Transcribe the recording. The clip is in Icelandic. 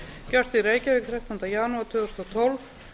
gjört í reykjavík þrettánda janúar tvö þúsund og tólf